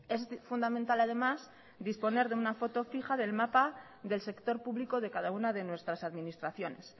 es fundamental además disponer de una foto fija del mapa del sector público de cada una de nuestras administraciones